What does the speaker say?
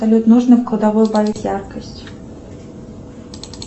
салют нужно в кладовой убавить яркость